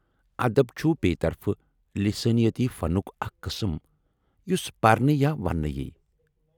ادب، چُھ بییہ، طرفہٕ لِسٲنِیٲتی فنُک اکھ قٕسم یُس پرنہٕ یا وننہٕ یی ۔